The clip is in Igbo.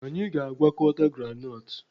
Anyị na-agwakọta groundnut